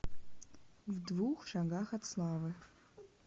в двух шагах от славы